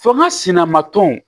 Fo n ka sina ma tɔn